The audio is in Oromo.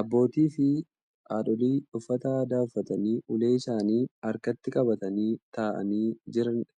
Abbootiifi haadholii uffata aadaa uffatanii ulee isaanii harkatti qabatanii taa'anii jiranidha.